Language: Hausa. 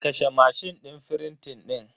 Kashe mashin din frintin din.